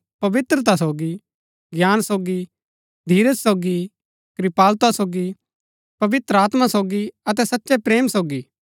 पवित्रता सोगी ज्ञान सोगी धीरज सोगी कृपालुता सोगी पवित्र आत्मा सोगी अतै सच्चै प्रेम सोगी